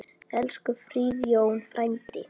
Elsku Friðjón frændi.